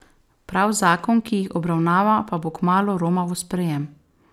Prav zakon, ki jih obravnava, pa bo kmalu romal v sprejem.